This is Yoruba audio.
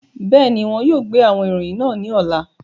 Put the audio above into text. Bẹẹni, wọn yóò gbe awọn iroyin naa ni ọla.